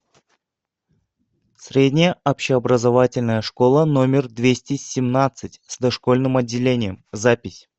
средняя общеобразовательная школа номер двести семнадцать с дошкольным отделением запись